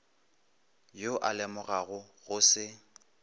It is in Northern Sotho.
yo a lemogago go se